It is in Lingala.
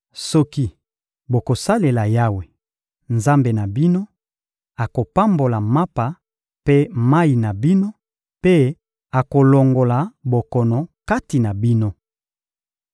Soki bokosalela Yawe, Nzambe na bino, akopambola mapa mpe mayi na bino, mpe akolongola bokono kati na bino.